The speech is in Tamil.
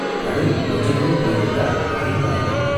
கடலில் கொஞ்ச தூரம் போய்விட்டால் கரை மறைந்து விடும்.